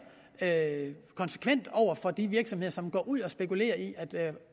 konsekvent over for de virksomheder som går ud og spekulerer i at